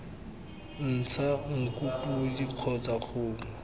ntsha nku podi kgotsa kgomo